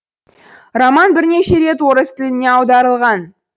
роман бірнеше рет орыс тіліне аударылған